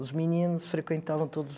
Os meninos frequentavam todos